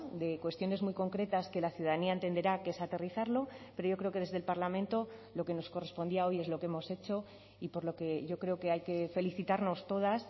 de cuestiones muy concretas que la ciudadanía entenderá que es aterrizarlo pero yo creo que desde el parlamento lo que nos correspondía hoy es lo que hemos hecho y por lo que yo creo que hay que felicitarnos todas